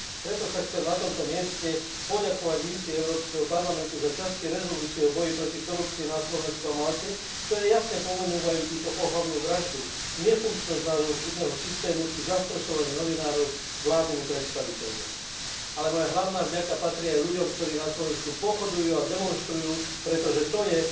Preto sa chcem na tomto mieste poďakovať misii Európskeho parlamentu za časti rezolúcie o boji proti korupcii na Slovensku a Malte, ktoré jasne pomenúvajú túto ohavnú vraždu, nefunkčnosť nášho súdneho systému či zastrašovanie novinárov vládnymi predstaviteľmi. Moja hlavná vďaka však patrí aj ľuďom, ktorí na Slovensku pochodujú a demonštrujú, pretože to je